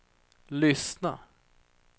lyssna